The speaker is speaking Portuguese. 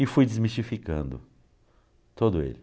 E fui desmistificando todo ele.